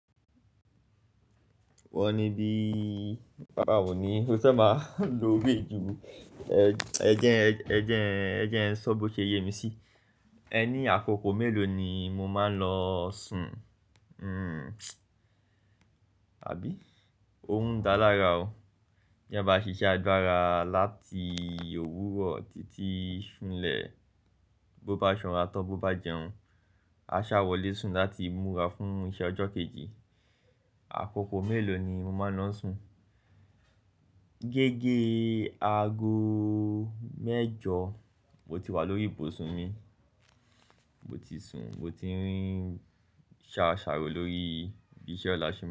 Wọ́n ní bí bà o ní o ti fẹ́ máa lo owe ju. Ẹ ẹ jẹ Ẹ jẹ ẹ jẹ Ẹ sọ bó ṣe yé mi sí. Ẹní àkókò mélòó ni mo máa ń lọ sùn? Àbí? Orun dá lára o. Ti eeyan bá ṣiṣẹ́ àgbára láti òwúrọ̀ títí sún lẹ̀, bó bá sanra tan tọ́ bó bá jẹun, a sá wọlé sùn láti múra fún iṣẹ́ ọjọ́ kejì. Àkókò mélòó ni mo máa ń lọ sùn? Gẹ́gẹ́ aago mẹ́jọ mo ti wà lórí ìbò sùn mi, mo ti sùn, mo ti rí n ṣàṣàrò lórí bí iṣẹ́ ọ̀la ṣe.